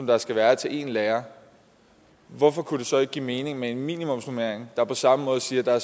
der skal være til én lærer hvorfor kunne det så ikke give mening med en minimumsnormering der på samme måde siger at der